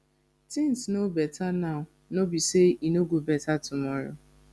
things no beta now no be say e no go beta tomorrow